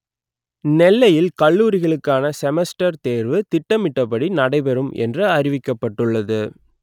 நெ‌ல்லை‌யி‌ல் க‌ல்லூ‌ரிகளு‌க்கான செம‌ஸ்ட‌ர் தே‌ர்வு ‌தி‌ட்ட‌மி‌‌ட்டபடி நடைபெறு‌ம் எ‌ன்று அ‌றிவிக்க‌ப்ப‌ட்டு‌ள்ளது